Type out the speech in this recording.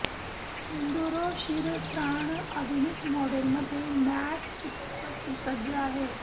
enduro शिरस्त्राण आधुनिक model मध्ये मॅट चित्रपट सुसज्ज आहे